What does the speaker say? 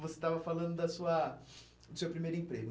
Você estava falando da sua do seu primeiro emprego.